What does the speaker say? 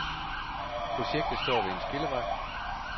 Projektet står ved en skillevej.